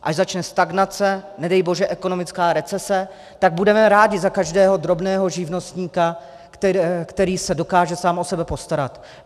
Až začne stagnace, nedej bože ekonomická recese, tak budeme rádi za každého drobného živnostníka, který se dokáže sám o sebe postarat.